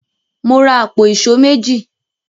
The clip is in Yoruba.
Mo ra àpò èṣó méjì.